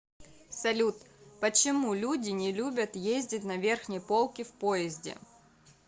салют почему люди не любят ездить на верхней полке в поезде